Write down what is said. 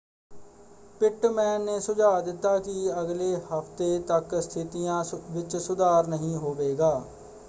Pitman ਨੇ ਸੁਝਾਅ ਦਿੱਤਾ ਕਿ ਅਗਲੇ ਹਫ਼ਤੇ ਤੱਕ ਸਥਿਤੀਆਂ ਵਿੱਚ ਸੁਧਾਰ ਨਹੀਂ ਹੋਵੇਗਾ।